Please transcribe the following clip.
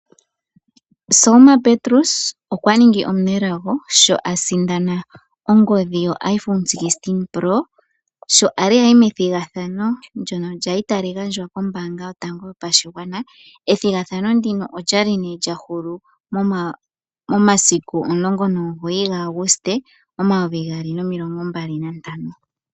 Selma Petrus kwa ningi omunelago sho asindana ongondhi yo iPhone 16 pro sho ali ayi methigathano lyono lyali tali gandjwa kombaanga yotango yopashigwana. Ethigathano ndino loyalist nee lyahulu momasiku 19 gaAguste omayovi gaali nomilingo mbali nantano.